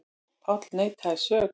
Páll neitaði sök.